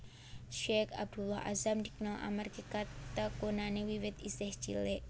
Syeikh Abdullah Azzam dikenal amarga katekunane wiwit isih cilik